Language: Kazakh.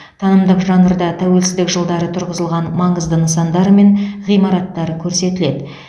танымдық жанрда тәуелсіздік жылдары тұрғызылған маңызды нысандар мен ғимараттар көрсетіледі